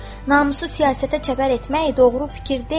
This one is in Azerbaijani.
Namusu siyasətə çəpər etmək doğru fikir deyil.